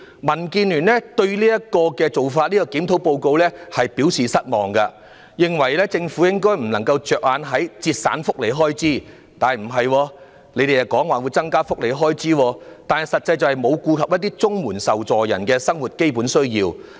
民建聯對於當年的檢討報告表示失望，認為政府不應只着眼於節省福利開支——實際上政府卻又表示會增加福利開支——而應顧及綜援受助人的基本生活需要。